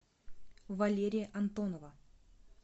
валерия антонова